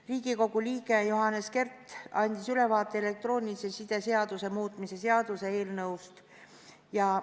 Riigikogu liige Johannes Kert andis elektroonilise side seaduse muutmise seaduse eelnõust ülevaate.